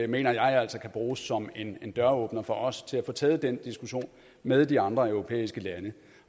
mener jeg altså kan bruges som en døråbner for os til at få taget den diskussion med de andre europæiske lande